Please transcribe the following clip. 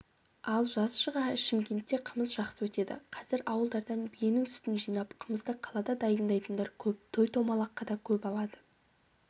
ал жаз шыға шымкентте қымыз жақсы өтеді қазір ауылдардан биенің сүтін жинап қымызды қалада дайындайтындар көп той-томалаққа да көп алады